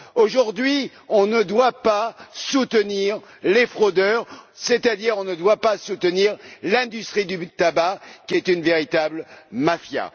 Aujourd'hui, on ne doit pas soutenir les fraudeurs, c'est à dire qu'on ne doit pas soutenir l'industrie du tabac, qui est une véritable mafia.